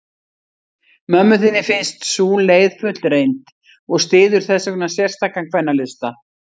Mömmu þinni finnst sú leið fullreynd, og styður þessvegna sérstakan kvennalista.